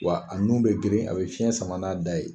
Wa a nun bɛ geren a bɛ fiyɛn sama n'a da ye.